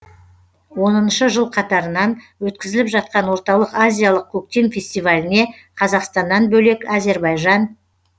оныншы жыл қатарынан өткізіліп жатқан орталық азиялық көктем фестиваліне қазақстаннан бөлек әзербайжан